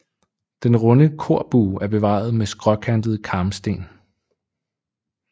Den runde korbue er bevaret med skråkantede karmsten